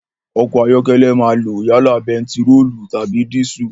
Ọkọ̀ ayọ́kẹ́lẹ́ máa lo yálà bẹntiróòlù tàbí dísù.